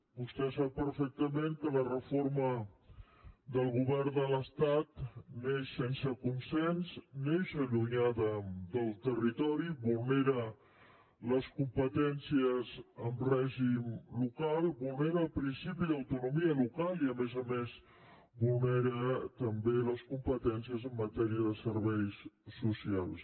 vostè sap perfectament que la reforma del govern de l’estat neix sense consens neix allunyada del territori vulnera les competències en règim local vulnera el principi d’autonomia local i a més a més vulnera també les competències en matèria de serveis socials